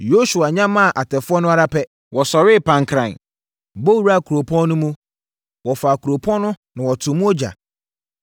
Yosua nyamaa atɛfoɔ no ara pɛ, wɔsɔree pankran bɔ wuraa kuropɔn no mu. Wɔfaa kuropɔn no na wɔtoo mu ogya.